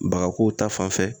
Baga ko ta fanfɛ